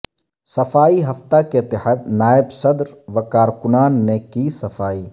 صفائی ہفتہ کے تحت نائب صدر و کارکنان نے کی صفائی